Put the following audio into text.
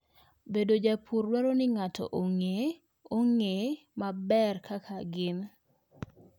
Bedo japur dwaro ni ng'ato ong'e ong'e maber kaka gin.